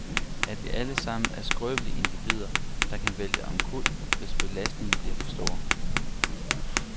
At vi alle sammen er skrøbelige individer, der kan vælte omkuld, hvis belastningen bliver for stor.